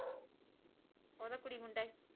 ਓਦਾ ਕੁੜੀ ਮੁੰਡਾ ਏ।